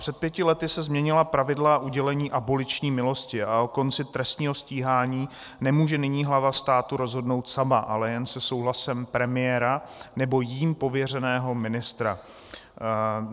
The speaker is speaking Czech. Před pěti lety se změnila pravidla udělení aboliční milosti a o konci trestního stíhání nemůže nyní hlava státu rozhodnout sama, ale jen se souhlasem premiéra nebo jím pověřeného ministra.